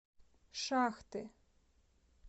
шахты